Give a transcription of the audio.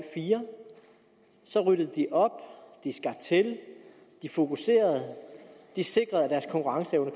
fire så ryddede de op skar til de fokuserede og sikrede at deres konkurrenceevne